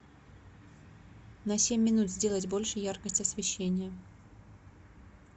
на семь минут сделать больше яркость освещения